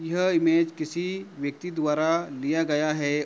यह इमेज किसी व्यक्ति द्वारा लिया गया है।